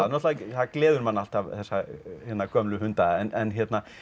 náttúrulega gleður mann alltaf þessa gömlu hunda en